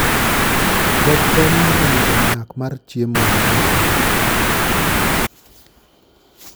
Koth konyo e medo nyak mar chiemo masiko